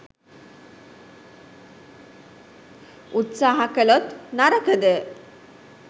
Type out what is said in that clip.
උත්සහ කලොත් නරකද?